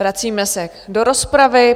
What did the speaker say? Vracíme se do rozpravy.